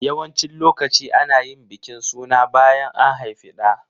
Yawancin lokaci ana yin bikin suna bayan an haifi ɗa.